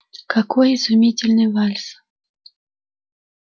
какой изумительный вальс